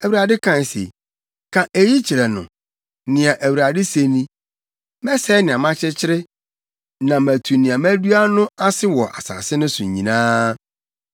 Awurade kae se, ‘Ka eyi kyerɛ no: Nea Awurade se ni: Mɛsɛe nea makyekyere na matu nea madua no ase wɔ asase no so nyinaa.